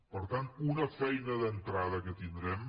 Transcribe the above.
per tant una feina d’entrada que tindrem